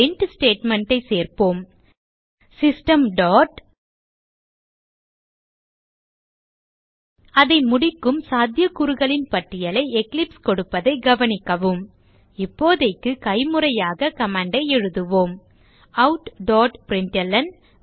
print statement ஐ சேர்ப்போம் system dot அதை முடிக்கும் சாத்தியக்கூறுகளின் பட்டியலை எக்லிப்ஸ் கொடுப்பதைக் கவனிக்கவும் இப்போதைக்கு கைமுறையாக command ஐ எழுதுவோம் outபிரின்ட்ல்ன்